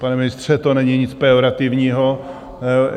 Pane ministře, to není nic pejorativního.